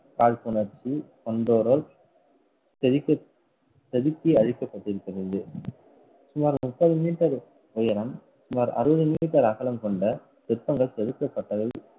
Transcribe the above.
காழ்ப்புணர்ச்சி கொண்டோரால் செதுக்க~ செதுக்கி அளிக்கப்பட்டிருக்கிறது. சுமார் முப்பது meter உயரம் சுமார் அறுபது meter அகலம் கொண்ட சிற்பங்கள் செதுக்கப்பட்டது.